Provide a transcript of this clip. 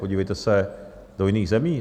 Podívejte se do jiných zemí.